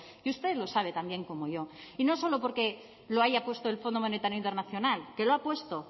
y usted lo sabe tan bien como yo y no solo porque lo haya puesto el fondo monetario internacional que la ha puesto